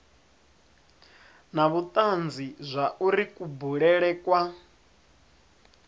na vhutanzi zwauri kubulele kwa